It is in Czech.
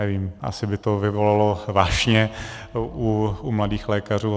Nevím, asi by to vyvolalo vášně u mladých lékařů.